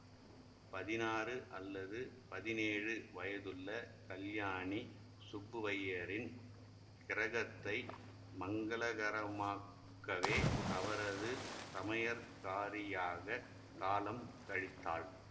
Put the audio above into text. பதினாறு அல்லது பதினேழு வயதுள்ள கல்யாணி சுப்புவையரின் கிரகத்தை மங்களகரமாக்கவே அவரது சமையற்காரியாகக் காலம் கழித்தாள்